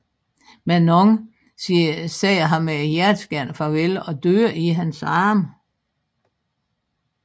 Manon siger ham et hjerteskærende farvel og dør i hans arme